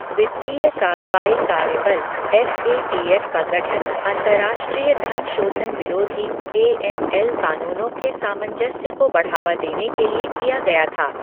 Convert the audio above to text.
वित्तीय कार्रवाई कार्य बल एफ ए टी एफ का गठन अंतर्राष्ट्रीय धन शोधन विरोधी ए एम एल कानूनों के सामंजस्य को बढ़ावा देने के लिए किया गया था।